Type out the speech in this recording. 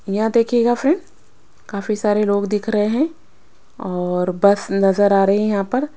यहां देखिएगा फ्रेंड काफी सारे रोग दिख रहे है और बस नजर आ रही है यहां पर--